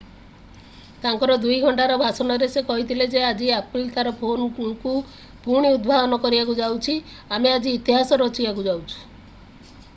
ତାଙ୍କର 2 ଘଣ୍ଟାର ଭାଷଣରେ ସେ କହିଥିଲେ ଯେ ଆଜି apple ତାର ଫୋନକୁ ପୁଣି ଉଦ୍ଭାବନ କରିବାକୁ ଯାଉଛି ଆମେ ଆଜି ଇତିହାସ ରଚିବାକୁ ଯାଉଛୁ